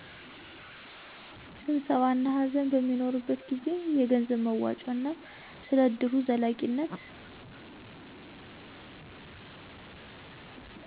ስብሰባ እና ሃዘን በሚኖርበት ጊዜ። የገንዘብ መዋጮ እና ስለ እድሩ ዘላቂነት